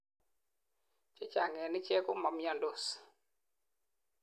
chechang en ichek komamiandos